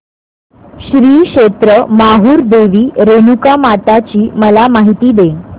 श्री क्षेत्र माहूर देवी रेणुकामाता ची मला माहिती दे